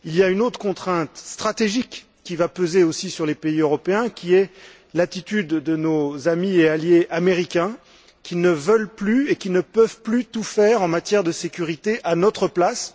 Une autre contrainte stratégique va aussi peser sur les pays européens l'attitude de nos amis et alliés américains, qui ne veulent plus et ne peuvent plus tout faire en matière de sécurité à notre place.